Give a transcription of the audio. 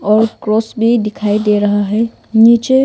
और क्रॉस भी दिखाई दे रहा है नीचे--